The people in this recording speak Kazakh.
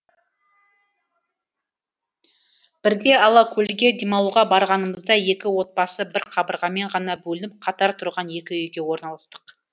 бірде алакөлге демалуға барғанымызда екі отбасы бір қабырғамен ғана бөлініп қатар тұрған екі үйге орналастық